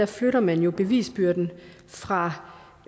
flytter man jo bevisbyrden fra